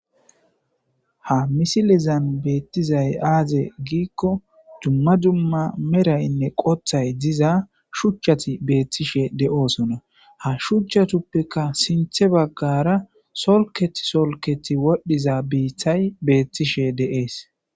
ha misilizan beettizay aaze giikko dumma dumma meraynne qothay diza shuchchati beethtishe de7oosona ha shuchcha tuppika sinthe baggara solket solketi wodhdhiza biithay beettishe deees